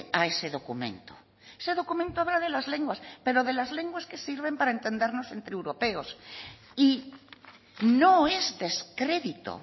a ese documento ese documento habla de las lenguas pero de las lenguas que sirven para entendernos entre europeos y no es descredito